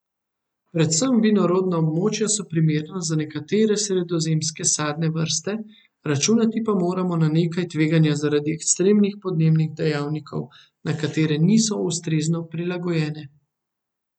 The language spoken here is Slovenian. Predvsem vinorodna območja so primerna za nekatere sredozemske sadne vrste, računati pa moramo na nekaj tveganja zaradi ekstremnih podnebnih dejavnikov, na katere niso ustrezno prilagojene.